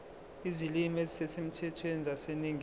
izilimi ezisemthethweni zaseningizimu